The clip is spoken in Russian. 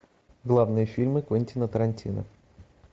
главные фильмы квентина тарантино